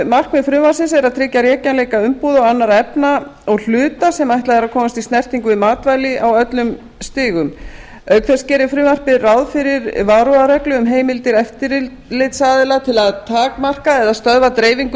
markmið frumvarpsins er að tryggja rekjanleika umbúða og annarra efna og hluta sem ætlað er að komast í snertingu við matvæli á öllum stigum auk þess gerir frumvarpið ráð fyrir varúðarreglu um heimildir eftirlitsaðila til að takmarka eða stöðva dreifingu